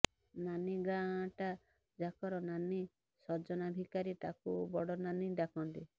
ନାନୀ ଗାଁଟା ଯାକର ନାନୀ ସଜନା ଭିକାରୀ ତାକୁ ବଡ଼ନାନୀ ଡାକନ୍ତି